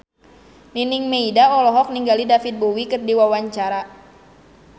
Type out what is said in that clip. Nining Meida olohok ningali David Bowie keur diwawancara